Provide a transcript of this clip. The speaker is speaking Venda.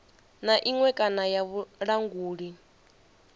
na iṅwe kana ya vhulanguli